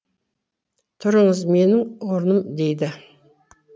тұрыңыз менің орыным дейді